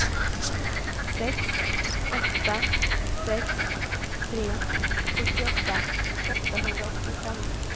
sex åtta sex tre fyrtioåtta åttahundraåttiofem